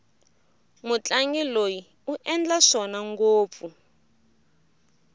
mutlangi loyi u endla swona ngopfu